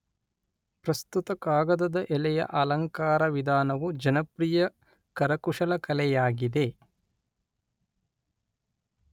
ಪ್ರಸ್ತುತ ಕಾಗದದ ಎಲೆಯ ಅಲಂಕಾರ ವಿಧಾನವು ಜನಪ್ರಿಯ ಕರಕುಶಲಕಲೆಯಾಗಿದೆ.